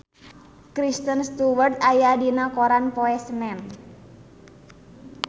Kristen Stewart aya dina koran poe Senen